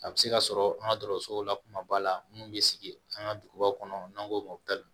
A bɛ se ka sɔrɔ an ka dɔgɔtɔrɔsow la kumaba la minnu bɛ sigi an ka duguba kɔnɔ n'an ko mali